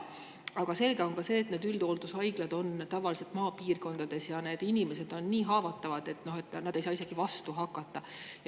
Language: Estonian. Aga on selge, et need üldhooldus on tavaliselt maapiirkondades ja need inimesed on nii haavatavad, et nad ei saa vastu hakata.